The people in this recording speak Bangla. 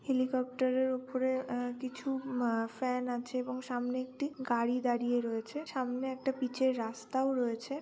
হেলিকপ্টার এর উপরে আ কিছু মা ফ্যান আছে এবং সামনে একটি গাড়ি দাঁড়িয়ে রয়েছে। সামনে একটা পিচের রাস্তা ও রয়েছে।